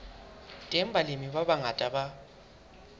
teng balemi ba bangata ba